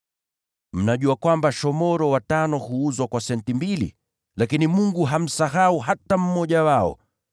Mnajua kwamba shomoro watano huuzwa kwa senti mbili? Lakini Mungu hamsahau hata mmoja wao.